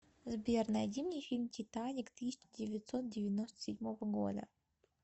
сбер найди мне фильм титаник тысяча девятсот девяносто седьмого года